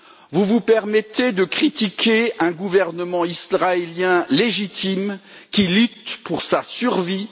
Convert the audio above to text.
Vous vous permettez de critiquer un gouvernement israélien légitime, qui lutte pour sa survie.